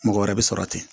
Mɔgɔ wɛrɛ bɛ sɔrɔ ten